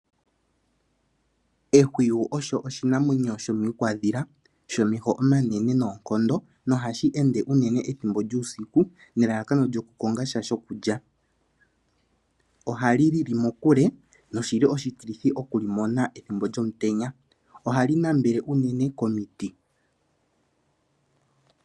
Ehwiyu osho oshinamwenyo shomiikwandhila shomeho omanene noonkondo nohashi ende unene ethimbo lyuusiku nelalakano lyoku kongasha shokulya. Ohali lili muule noshili oshitilithi ethimbo lyomutenya. Ohali nambele komiti.